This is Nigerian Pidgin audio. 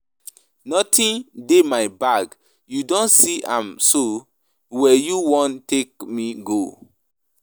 Nothing dey my bag, you don see am so where you wan take me go?